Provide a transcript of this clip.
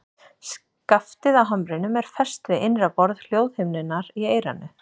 Skaftið á hamrinum er fest við innra borð hljóðhimnunnar í eyranu.